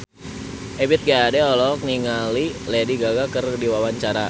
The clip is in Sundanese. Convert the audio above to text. Ebith G. Ade olohok ningali Lady Gaga keur diwawancara